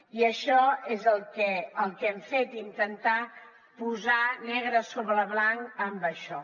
i això és el que hem fet intentar posar negre sobre blanc en això